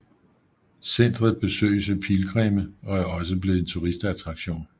Centret besøges af pilgrimme og er også blevet en turistattraktion